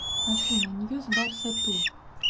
афина ньюс барса ту